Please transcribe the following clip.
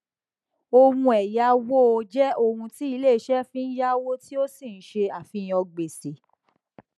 ohun ẹyáwó jẹ ohun tí ilé iṣẹ fi yáwó tí ó ń ṣe àfihàn gbèsè